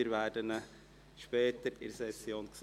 wir werden ihn später in der Session sehen.